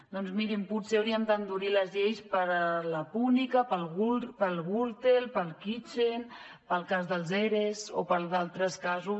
doncs mirin potser hauríem d’endurir les lleis per a la púnica per a la gürtel per a la kitchen pel cas dels eres o per a d’altres casos